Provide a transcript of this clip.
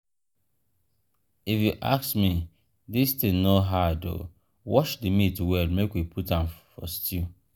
if you ask me dis thing no hard oo wash the meat well make we put a for stew